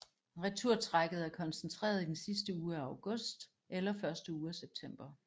Returtrækket er koncentreret i den sidste uge af august eller første uge af september